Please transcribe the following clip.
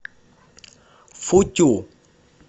футю